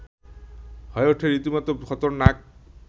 হয়ে ওঠে রীতিমতো খতরনাক